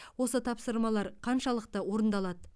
осы тапсырмалар қаншалықты орындалады